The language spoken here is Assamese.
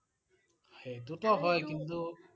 সেইটো টো হয় কিন্তু